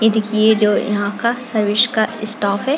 ये देखिये ये जो यहाँ का सर्विस का स्टाफ हैं।